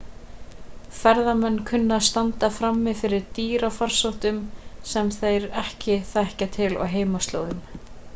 ferðamenn kunna að standa frammi fyrir dýrafarsóttum sem þeir ekki þekkja til á heimaslóðum